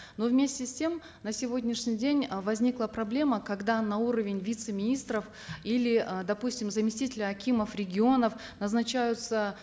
но вместе с тем на сегодняшний день э возникла проблема когда на уровень вице министров или э допустим заместителя акимов регионов назначаются